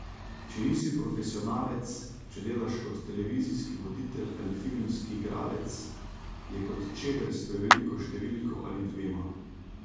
Če nisi profesionalec, če delaš kot televizijski voditelj ali filmski igralec, je kot čevelj s preveliko številko ali dvema.